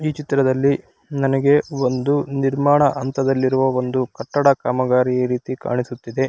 ಈ ಚಿತ್ರದಲ್ಲಿ ನನಗೆ ಒಂದು ನಿರ್ಮಾಣ ಹಂತದಲ್ಲಿರೋ ಒಂದು ಕಟ್ಟಡ ಕಾಮಗಾರಿ ಈ ರೀತಿ ಕಾಣಿಸುತ್ತಿದೆ.